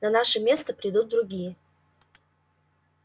на наше место придут другие